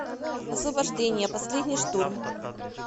освобождение последний штурм